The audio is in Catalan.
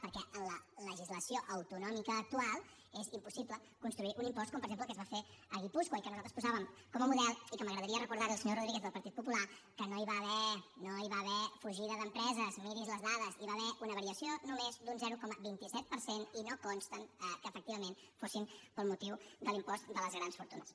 perquè en la legislació autonòmica actual és impossible construir un impost com per exemple el que es va fer a guipúscoa i que nosaltres posàvem com a model i que m’agradaria recordar li al senyor rodríguez del partit popular que no hi va haver fugida d’empreses miri’s les dades hi va haver una variació només d’un zero coma vint set per cent i no consta que efectivament fos pel motiu de l’impost de les grans fortunes